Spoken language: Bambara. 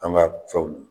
An ka fɛnw